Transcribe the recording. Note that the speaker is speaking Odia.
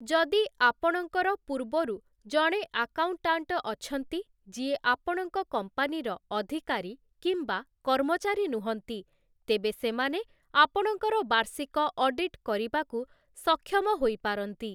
ଯଦି ଆପଣଙ୍କର ପୂର୍ବରୁ ଜଣେ ଆକାଉଣ୍ଟାଣ୍ଟ ଅଛନ୍ତି ଯିଏ ଆପଣଙ୍କ କମ୍ପାନୀର ଅଧିକାରୀ କିମ୍ବା କର୍ମଚାରୀ ନୁହଁନ୍ତି, ତେବେ ସେମାନେ ଆପଣଙ୍କର ବାର୍ଷିକ ଅଡିଟ୍ କରିବାକୁ ସକ୍ଷମ ହୋଇପାରନ୍ତି ।